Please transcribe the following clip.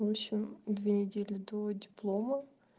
в общем две недели до диплома